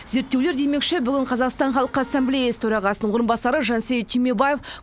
зерттеулер демекші бүгін қазақстан халқы ассамюлеясы төрағасының орынбасары жансейіт түймебаев